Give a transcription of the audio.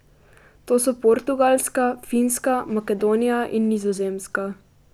To so Portugalska, Finska, Makedonija in Nizozemska.